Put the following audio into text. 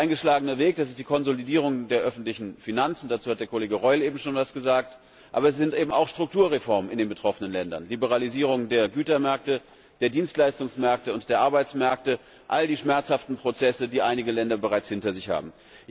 Der eingeschlagene Weg ist die Konsolidierung der öffentlichen Finanzen, dazu hat Kollege Reul eben schon etwas gesagt, aber es sind eben auch Strukturreformen in den betroffenen Ländern Liberalisierung der Gütermärkte, der Dienstleistungsmärkte und der Arbeitsmärkte all die schmerzhaften Prozesse, die einige Länder bereits hinter sich haben.